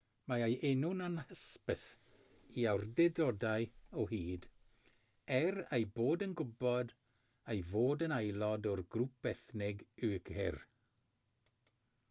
mae ei enw'n anhysbys i awdurdodau o hyd er eu bod yn gwybod ei fod yn aelod o'r grŵp ethnig uighur